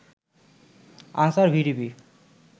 answer VDP